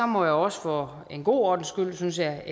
må jeg også for en god ordens skyld synes jeg